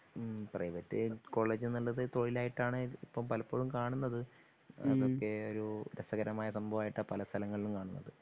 ഉം പ്രൈവറ്റ് കോളേജുന്നുള്ളത് തൊഴിലായിട്ടാണ് ഇപ്പൊ പലപ്പോഴും കാണുന്നത്. അതൊക്കെ ഒരു രസകരമായ സഭാവമായിട്ടാ പലസ്ഥലങ്ങളിലും കാണുന്നത്